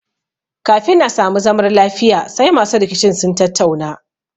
Kafin a sami zamar lafiya sai masu rikicin sun tattauna